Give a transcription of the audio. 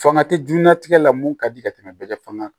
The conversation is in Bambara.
Fanga tɛ jɛnnatigɛ la mun ka di ka tɛmɛ bɛɛ ka fanga kan